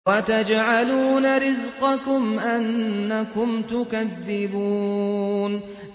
وَتَجْعَلُونَ رِزْقَكُمْ أَنَّكُمْ تُكَذِّبُونَ